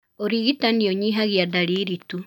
Ũrigitani ũnyihagia ndariri tu.